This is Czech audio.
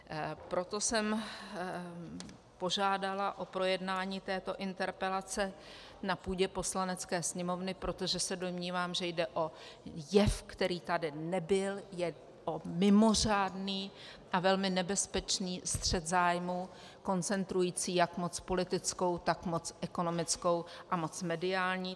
Proto jsem požádala o projednání této interpelace na půdě Poslanecké sněmovny, protože se domnívám, že jde o jev, který tady nebyl, o jev mimořádný a velmi nebezpečný střet zájmů koncentrující jak moc politickou, tak moc ekonomickou a moc mediální.